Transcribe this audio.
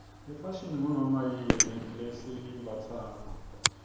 ifashini ngunoma yini lesiyimbatsako